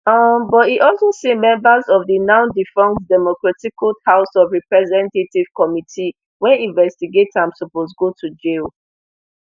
um but e also say members of di nowdefunct democraticled house of representatives committee wey investigate am suppose go to jail